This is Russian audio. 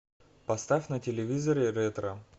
поставь на телевизоре ретро